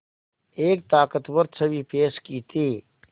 एक ताक़तवर छवि पेश की थी